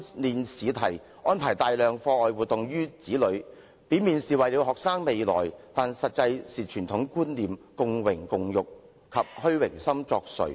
另一方面，父母為子女安排大量課外活動，表面上是為了他們的未來，但實際上是由於傳統觀念、共榮共辱及虛榮心作祟。